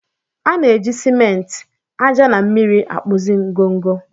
A na-eji ciment, ájá na mmiri na-akpụzi ngọngọ.